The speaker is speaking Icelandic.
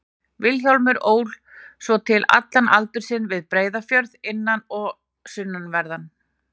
Vilhjálmur ól svo til allan aldur sinn við Breiðafjörð, innan- og sunnanverðan.